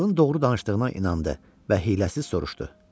Kralın doğru danışdığına inandı və hiyləsiz soruşdu: